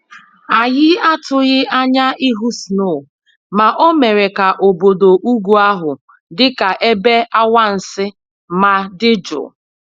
Anyị atụghị anya ịhụ snow ma o mere ka obodo ugwu ahụ dị ka ebe anwansị ma dị jụụ